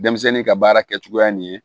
Denmisɛnnin ka baara kɛcogoya nin ye